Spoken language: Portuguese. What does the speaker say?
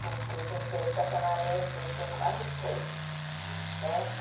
Porque tem que ter estacionamento, tem que ter um bocado de coisa, né.